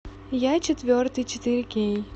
я четвертый четыре кей